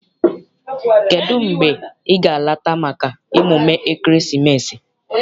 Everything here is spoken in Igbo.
Kedụ mgbe ị ga- alata maka emume ekeresimesi?